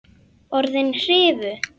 Orðin hrifu.